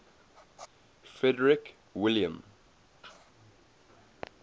frederick william